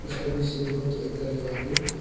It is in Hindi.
उसका बीच से देखो तो एक घर है वहां पे।